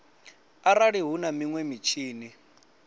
arali hu na minwe mitshini